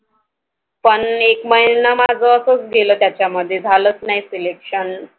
पण एक महिना माझ असंच गेलं त्याच्यामध्ये झालंच नाही Selection